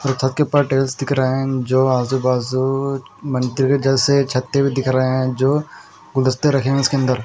और छत के ऊपर टेल्स दिख रहे हैं एं जो आज़ू-बाज़ू मंत्री जल से छत्ते भी दिखा रहे हैं जो गुलदस्ते रखे हुए हैं इसके अंदर--